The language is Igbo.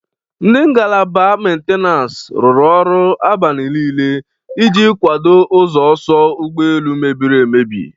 Ndị ngalaba mentenansi rụrụ ọrụ abani niile iji kwado ụzọ ọsọ ụgbọ elu mebiri emebi.